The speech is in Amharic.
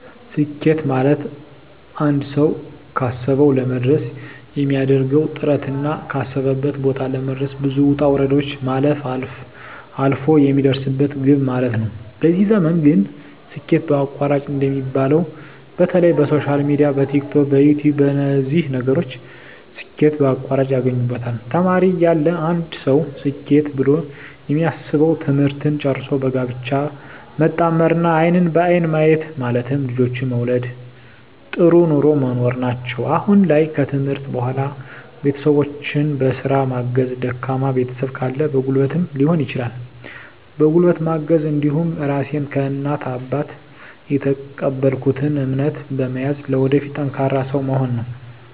ስኬት ማለትአንድ ሰዉ ካሰዉ ለመድረስ የሚያደርገዉ ጥረትና ካሰበበት ቦታ ለመድረስ ብዙ ዉጣ ዉረዶችን ማለፍ አልፍ የሚደርስበት ግብ ማለት ነዉ በዚህ ዘመን ግን ስኬት በአቋራጭ እንደሚባለዉ በተለይ በሶሻል ሚድያ በቲክቶክ በዩትዩብ በነዚህ ነገሮች ስኬት በአቋራጭ ያገኙበታል ተማሪ እያለ አንድ ሰዉ ስኬት ብሎ የሚያስበዉ ትምህርትን ጨርሶ በጋብቻ መጣመርና አይንን በአይን ማየት ማለትም ልጆችን መዉለድ ጥሩ ኑሮ መኖር ናቸዉ አሁን ላይ ከትምህርት በኋላ ቤተሰቦቸን በስራ ማገዝ ደካማ ቤተሰብ ካለ በጉልበትም ሊሆን ይችላል በጉልበት ማገዝ እንዲሁም ራሴን ከእናት ከአባት የተቀበልኩትን እምነት በመያዝ ለወደፊት ጠንካራ ሰዉ መሆን ነዉ